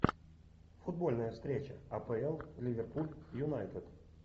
футбольная встреча апл ливерпуль юнайтед